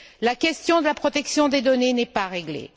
La question de la protection des données n'est pas réglée.